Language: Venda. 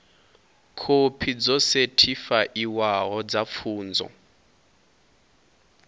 khophi dzo sethifaiwaho dza pfunzo